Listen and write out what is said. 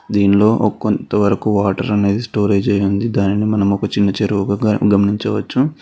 దీనిలో ఒక కొంతవరకు వాటర్ అనేది స్టోరేజ్ అయ్యి ఉంది దానిని మనం ఒక చిన్న చెరువుగా గమనించవచ్చు.